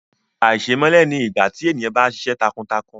Àìṣèmẹ́lẹ́ ni ìgbà tí èèyàn bá ṣiṣẹ́ takuntakun